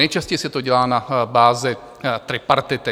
Nejčastěji se to dělá na bázi tripartity.